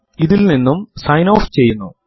ഇത് ഇൽ നിന്നും സൈൻ ഓഫ് ചെയ്യുന്നു